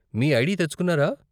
మీ ID తెచ్చుకున్నారా?